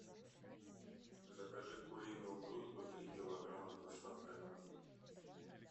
закажи куриную грудку три килограмма с доставкой на дом